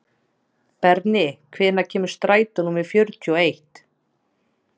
Berni, hvenær kemur strætó númer fjörutíu og eitt?